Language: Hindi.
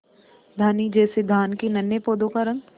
धानी जैसे धान के नन्हे पौधों का रंग